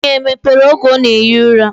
Onu ya emepere oge ona ehi ura?